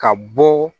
Ka bɔ